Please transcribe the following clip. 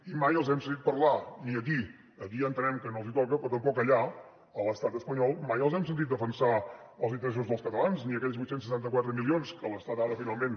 i mai els hem sentit parlar ni aquí aquí ja entenem que no els toca però tampoc allà a l’estat espanyol mai els hem sentit defensar els interessos dels catalans ni aquells vuit cents i setanta quatre milions que l’estat ara finalment